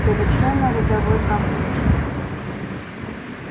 совершенно рядовой конфликт